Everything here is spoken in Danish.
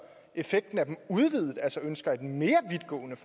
effekten af det udvidet altså ønsker et mere vidtgående